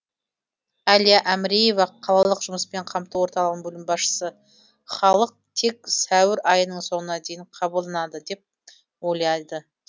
әлия әміреева қалалық жұмыспен қамту орталығының басшысы халық тек сәуір айының соңына дейін қабылданады деп ойлайды